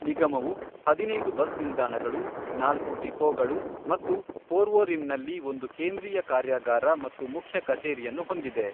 ನಿಗಮವು ಹದಿನೈದು ಬಸ್ ನಿಲ್ದಾಣಗಳು, ನಾಲ್ಕು ಡಿಪೋಗಳು ಮತ್ತು ಪೋರ್ವೊರಿಮ್ನಲ್ಲಿ ಒಂದು ಕೇಂದ್ರೀಯ ಕಾರ್ಯಾಗಾರ ಹಾಗೂ ಮುಖ್ಯ ಕಚೇರಿಯನ್ನು ಹೊಂದಿದೆ.